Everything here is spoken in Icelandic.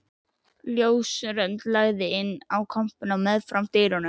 Ljósrönd lagði inn í kompuna meðfram dyrunum.